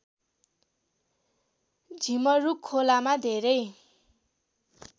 झिमरुक खोलामा धेरै